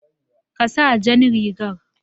Ka sa jan rigan